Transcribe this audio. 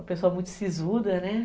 Uma pessoa muito cisuda, né?